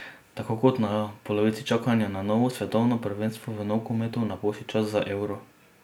Tako kot na polovici čakanja na novo svetovno prvenstvo v nogometu napoči čas za euro.